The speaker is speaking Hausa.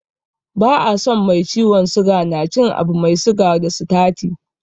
Ba a so mai ciwon suga na cin abu mai siga da sitati.